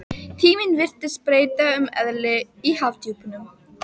Tíminn virtist breyta um eðli í hafdjúpunum.